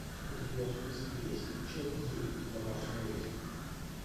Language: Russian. у тебя в списке есть часть девять домашний арест